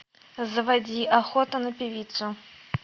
заводи охота на певицу